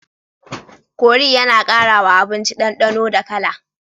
Kori yAna kara wa abinci dan danonda kala